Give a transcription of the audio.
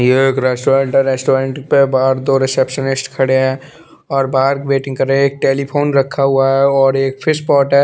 ये एक रेस्टोरेंट है रेस्टोरेंट पे बाहर दो रिसेप्सनिस्ट खड़े है और बाहर वेटिंग कर रे है एक टेलीफ़ोन रखा हुआ है और एक फिशपोट है।